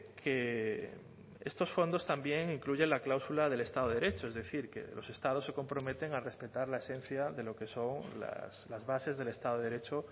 que estos fondos también incluyen la cláusula del estado de derecho es decir que los estados se comprometen a respetar la esencia de lo que son las bases del estado de derecho